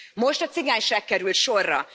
Most a cigányság került sorra.